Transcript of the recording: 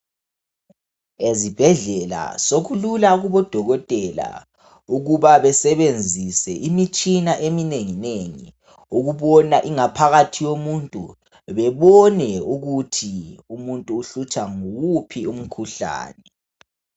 Ezibhedlela sokulula kubodokotela ukuba besebenzise imitshina eminenginengi ukubona ingaphakathi yomuntu ,bebone ukuthi umuntu uhlutshwa nguwuphi umkhuhlane.